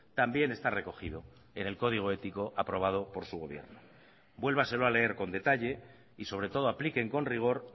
también está recogido en el código ético aprobado por su gobierno vuélvaselo a leer con detalle y sobre todo apliquen con rigor